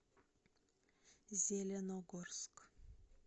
зеленогорск